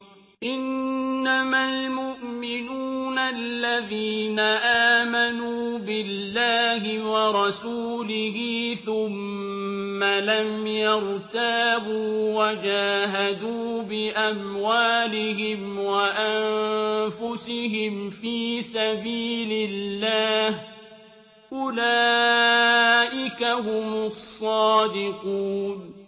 إِنَّمَا الْمُؤْمِنُونَ الَّذِينَ آمَنُوا بِاللَّهِ وَرَسُولِهِ ثُمَّ لَمْ يَرْتَابُوا وَجَاهَدُوا بِأَمْوَالِهِمْ وَأَنفُسِهِمْ فِي سَبِيلِ اللَّهِ ۚ أُولَٰئِكَ هُمُ الصَّادِقُونَ